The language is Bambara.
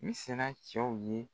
N sina cɛw ye